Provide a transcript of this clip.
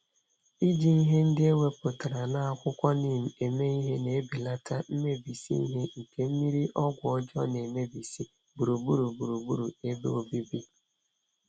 Iji ihe ndị ewepụtara n'akwụkwọ neem eme ihe, n'ebelata mmebisi ihe nke mmírí ọgwụ ọjọọ nemebisi gburugburu gburugburu ebe obibi.